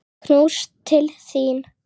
Knús til þín.